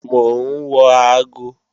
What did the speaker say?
Mò ń wo aago